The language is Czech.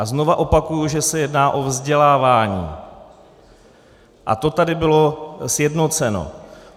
A znovu opakuji, že se jedná o vzdělávání, a to tady bylo sjednoceno.